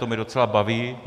To mě docela baví.